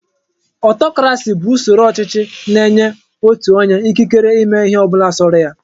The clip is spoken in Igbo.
Ọtọkrasị bụ usoro ọchịchị na-enye otu onye ikikere ịme ịhe ọbụla sọrọ ya.